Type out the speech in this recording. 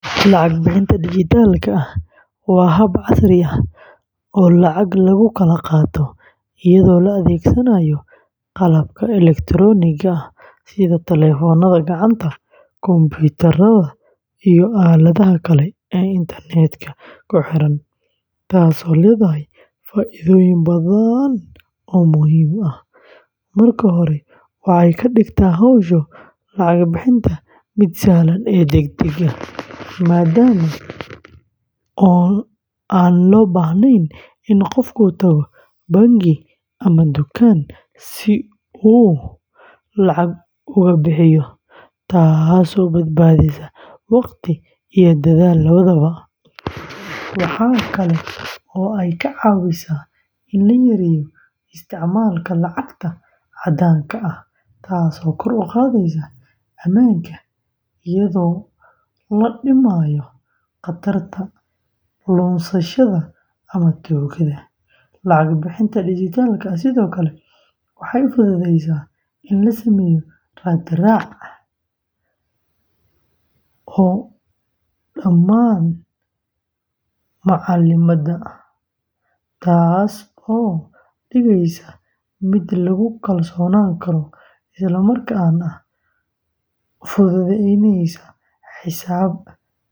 Lacag bixinta dijitaalka ah waa hab casri ah oo lacag lagu kala qaato iyadoo la adeegsanayo qalabka elektaroonigga ah sida telefoonada gacanta, kombiyuutarada, iyo aaladaha kale ee internet-ka ku xiran, taasoo leedahay faa'iidooyin badan oo muhiim ah. Marka hore, waxay ka dhigtaa hawsha lacag bixinta mid sahlan oo degdeg ah, maadaama aan loo baahnayn in qofku tago bangi ama dukaanka si uu lacag uga bixiyo, taasoo badbaadisa waqti iyo dadaal labadaba. Waxa kale oo ay ka caawisaa in la yareeyo isticmaalka lacagta caddaanka ah taasoo kor u qaadaysa ammaanka, iyadoo la dhimayo khatarta lunsashada ama tuugada. Lacag bixinta dijitaalka ah sidoo kale waxay fududaysaa in la sameeyo raad-raac cad oo dhammaan macaamilada, taasoo ka dhigaysa mid lagu kalsoonaan karo isla markaana fududeynaysa xisaabaadka iyo canshuuraha.